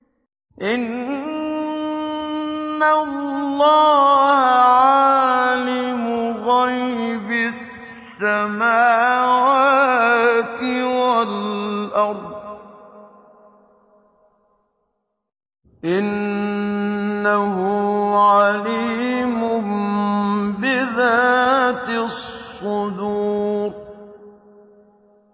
إِنَّ اللَّهَ عَالِمُ غَيْبِ السَّمَاوَاتِ وَالْأَرْضِ ۚ إِنَّهُ عَلِيمٌ بِذَاتِ الصُّدُورِ